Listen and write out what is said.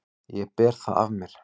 Ég ber það af mér.